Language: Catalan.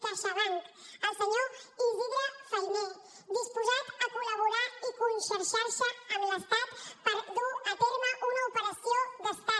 caixabank el senyor isidre fainé disposat a col·laborar i conxorxar se amb l’estat per dur a terme una operació d’estat